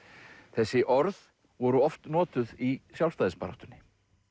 þessi orð voru oft notuð í sjálfstæðisbaráttunni